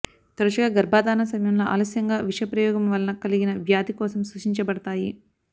తరచుగా గర్భధారణ సమయంలో ఆలస్యంగా విష ప్రయోగము వలన కలిగిన వ్యాధి కోసం సూచించబడతాయి